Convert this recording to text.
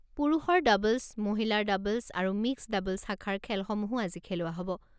পুৰুষৰ ডাবল্‌ছ, মহিলাৰ ডাবলছ আৰু মিক্সড ডাবল্‌ছ শাখাৰ খেলসমূহো আজি খেলোৱা হ'ব।